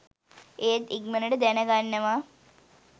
ඒත් ඉක්මනටම දැනගන්නවා